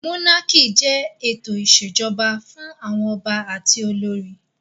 Mónákì jẹ́ ètò ìṣèjọba fún àwọn ọba àti olórí